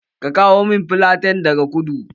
Ka kawo min filaten daga kudu!